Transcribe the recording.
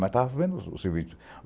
Mas estava vendo o serviço.